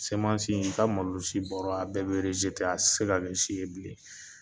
Semasin ka malo si baro a bɛɛ bɛerezte a se ka bɛ si ye bilen